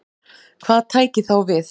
Hvað tæki þá við?